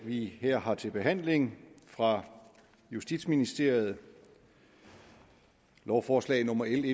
vi her har til behandling fra justitsministeriet lovforslag nummer l